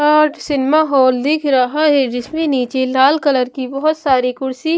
और cinema hall दिख रहा है जिसमें नीचे लाल कलर की बहुत सारी कुर्सी--